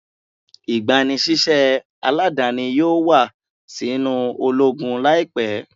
Igbanisiṣẹ aladani yoo wa sinu ologun laipẹ